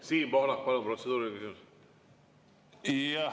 Siim Pohlak, palun, protseduuriline küsimus!